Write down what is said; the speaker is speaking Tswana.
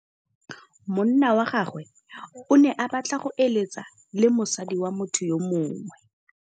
Monna wa gagwe o ne a batla go êlêtsa le mosadi wa motho yo mongwe.